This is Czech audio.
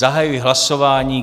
Zahajuji hlasování.